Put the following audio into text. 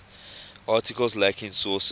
articles lacking sources